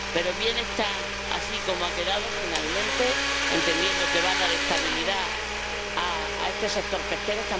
Pero bien está así como ha quedado finalmente, entendiendo que va a dar estabilidad a este sector pesquero.